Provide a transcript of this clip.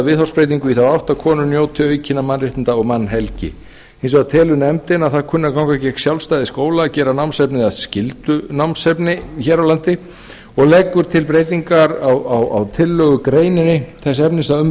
viðhorfsbreytingu í þá átt að konur njóti aukinna mannréttinda og mannhelgi hins vegar telur nefndin að það kunni að ganga gegn sjálfstæði skóla að gera námsefnið að skyldunámsefni og leggur til breytingu á tillögunni þess efnis að um verði að